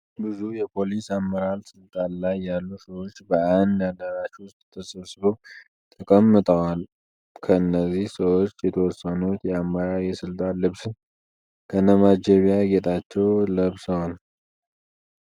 ብዙ የፖሊስ አመራር ስልጣን ላይ ያሉ ሰዎች በአንድ አዳራሽ ዉስጥ ተሰብስበው ተቀምጠዋል። ከእነዚህ ሰዎች የተወሰኑት የአመራር የስልጣን ልብስን ከነማጀቢያ ጌጣቸው ለብሰዋል።